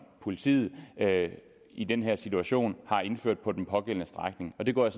politiet i den her situation har indført på den pågældende strækning det går jeg